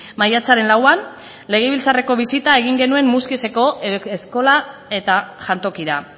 maiatzaren lauan legebiltzarreko bisita egin genuen muskizeko eskola eta jantokira